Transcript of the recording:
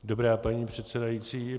Dobrá, paní předsedající.